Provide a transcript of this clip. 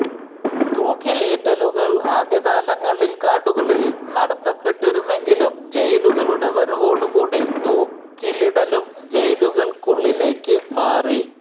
തൂക്കിലേറ്റലുകൾ ആദ്യകാലങ്ങളിൽ കാടുകളിൽ നടത്തപ്പെട്ടിരുന്നെങ്കിലും ജയിലുകളുടെ വരവോടു കൂടി തൂക്കിലിടലും ജയിലുകൾക്കുള്ളിലേക്കു മാറി